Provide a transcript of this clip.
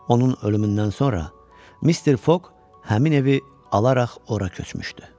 Onun ölümündən sonra Mister Foq həmin evi alaraq ora köçmüşdü.